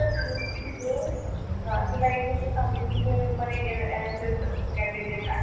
किती ग हं तुला एक गोष्ट सांगितली का मी पण एक NSScandidate आहे.